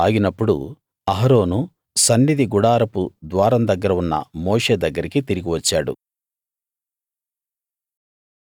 ఆ తెగులు ఆగినప్పుడు అహరోను సన్నిధి గుడారపు ద్వారం దగ్గర ఉన్న మోషే దగ్గరికి తిరిగి వచ్చాడు